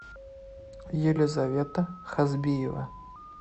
елизавета хазбиева